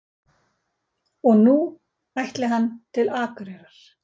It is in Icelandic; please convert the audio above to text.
Og nú ætli hann til Akureyrar.